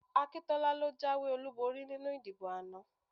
Akíntọ́lá ló jáwé olúborí nínú ìdìbò ana